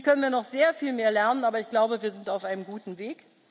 Hier können wir noch sehr viel mehr lernen, aber ich glaube, wir sind auf einem guten